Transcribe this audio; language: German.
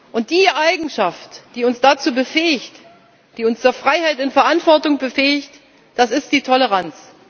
Und die Eigenschaft, die uns dazu befähigt, die uns zur Freiheit in Verantwortung befähigt, das ist die Toleranz.